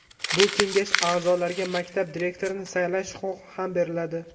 Bu kengash aʼzolariga maktab direktorini saylash huquqi ham beriladi.